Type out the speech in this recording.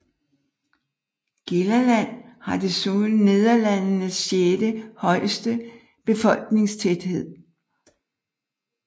Gelderland har desuden Nederlandenes sjette højeste befolkningstæthed